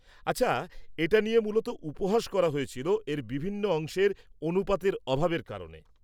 -আচ্ছা, এটা নিয়ে মূলত উপহাস করা হয়েছিল এর বিভিন্ন অংশের অনুপাতের অভাবের কারণে।